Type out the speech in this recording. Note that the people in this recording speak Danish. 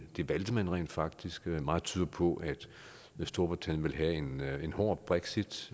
det valgte man rent faktisk meget tyder på at storbritannien vil have en hård brexit